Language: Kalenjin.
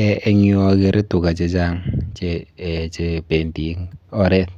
Eh eng yu akere tuga chechang chependi eng oret